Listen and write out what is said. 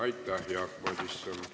Aitäh, Jaak Madison!